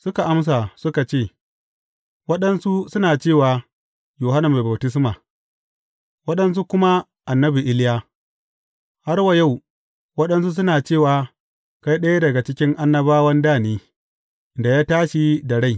Suka amsa, suka ce, Waɗansu suna cewa, Yohanna Mai Baftisma, waɗansu kuma annabi Iliya, har wa yau waɗansu suna cewa, kai ɗaya daga cikin annabawan da ne, da ya tashi da rai.